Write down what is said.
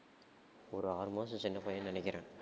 ஒரு ஆறு மாசம் சின்ன பையன்னு நினைக்கிறேன்